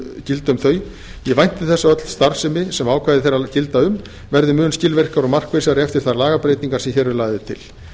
þau gilda um ég vænti þess að öll starfsemi sem ákvæði þeirra gilda um verði mun skilvirkari og markvissari eftir þær lagabreytingar sem hér eru lagðar til